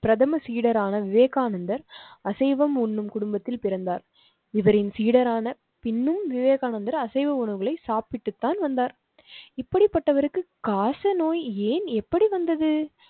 பிரதம சீடரான விவேகானந்தர் அசைவம் உண்ணும் குடும்பத்தில் பிறந்தார். இவரின் சீடரான பின்னும் விவேகானந்தர் அசைவ உணவுகளை சாப்பிட்டுத்தான் வந்தார். இப்படிப்பட்டவருக்கு காச நோய் ஏன் எப்படி வந்தது?